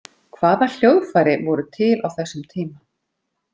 Hvaða hljóðfæri voru til á þessum tíma?